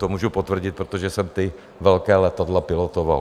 To můžu potvrdit, protože jsem ta velká letadla pilotoval.